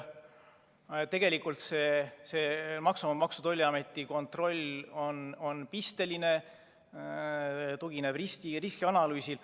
Tegelikult Maksu‑ ja Tolliameti kontroll on pisteline, tugineb riskianalüüsile.